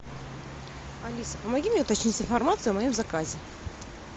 алиса помоги мне уточнить информацию о моем заказе